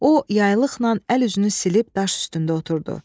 O yaylıqla əl-üzünü silib daş üstündə oturdu.